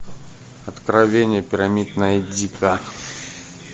откровение пирамид найди ка